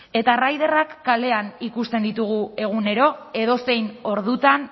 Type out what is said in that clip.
eta riderak kalean ikusten ditugu egunero edozein ordutan